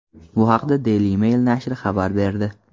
Bu haqda Daily Mail nashri xabar berdi .